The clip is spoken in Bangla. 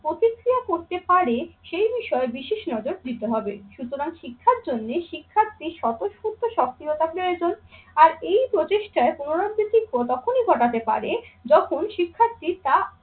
প্রতিক্রিয়া করতে পারে সেই বিষয়ে বিশেষ নজর দিতে হবে সুতরাং শিক্ষার জন্যে শিক্ষার্থী স্বতঃস্ফূর্ত সক্রিয়তা প্রয়োজন। আর এই প্রচেষ্টার পুনরাবৃত্তি তখনই ঘটাতে পারে যখন শিক্ষার্থী তা